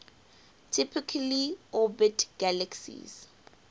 typically orbit galaxies